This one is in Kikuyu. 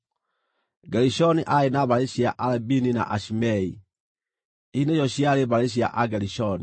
Gerishoni aarĩ na mbarĩ cia Alabini na Ashimei; ici nĩcio ciarĩ mbarĩ cia Agerishoni.